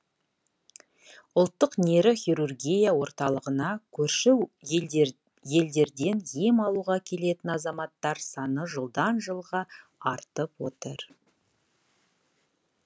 ұлттық нейрохирургия орталығына көрші елдерден ем алуға келетін азаматтар саны жылдан жылға артып отыр